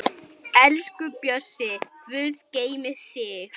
Elsku Bjössi, Guð geymi þig.